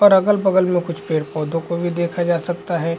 और अगल-बगल में कुछ पेड़-पौधो को भी देखा जा सकता है।